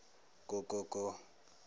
ko ko ko